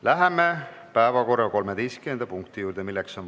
Läheme päevakorra 13. punkti juurde.